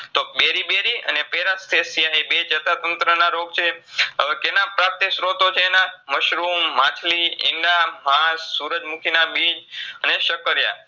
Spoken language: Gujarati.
તો beryberyParesthesia એ બે ચેતાતંત્રના રોગ છે. હવે કેના પ્રાપ્તિ સ્ત્રોતો છે એના મશરૂમ, માછલી, ઈંડા, સુરજમુખીના બીજ અને સક્કરયા